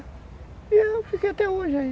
E eu fiquei até hoje aí.